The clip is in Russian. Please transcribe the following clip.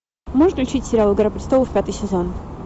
можешь включить сериал игра престолов пятый сезон